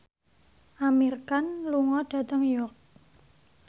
Amir Khan lunga dhateng York